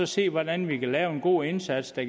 se hvordan vi kan lave en god indsats der